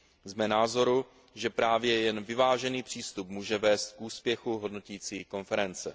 Jsme názoru, že právě jen vyvážený přístup může vést k úspěchu hodnotící konference.